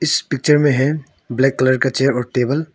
इस पिक्चर में है ब्लैक कलर का चेयर और टेबल ।